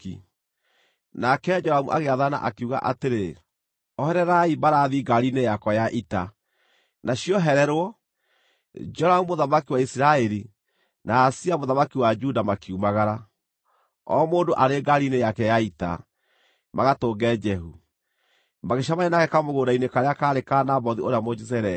Nake Joramu agĩathana, akiuga atĩrĩ, “Ohererai mbarathi ngaari-inĩ yakwa ya ita.” Na ciohererwo, Joramu mũthamaki wa Isiraeli na Ahazia mũthamaki wa Juda makiumagara, o mũndũ arĩ ngaari-inĩ yake ya ita, magatũnge Jehu. Magĩcemania nake kamũgũnda-inĩ karĩa kaarĩ ka Nabothu ũrĩa Mũjezireeli.